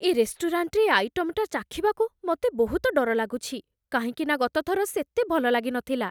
ଏ ରେଷ୍ଟୁରାଣ୍ଟରେ ଏ ଆଇଟମଟା ଚାଖିବାକୁ ମତେ ବହୁତ ଡର ଲାଗୁଛି, କାହିଁକିନା ଗତଥର ସେତେ ଭଲ ଲାଗିନଥିଲା ।